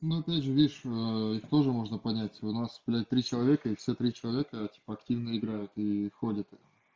но опять же видишь их тоже можно понять у нас три человека и все три человека типа активно играют и ходят